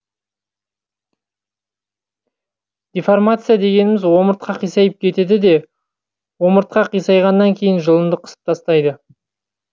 дефоррмация дегеніміз омыртқа қисайып кетеді де омыртқа қисайғаннан кейін жұлынды қысып тастайды